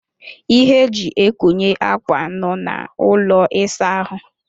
Ihe e ji ekonye akwa nọ na ụlọ ịsa ahụ.